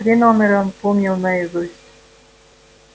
три номера он помнил наизусть